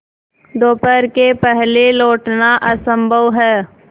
दोपहर के पहले लौटना असंभव है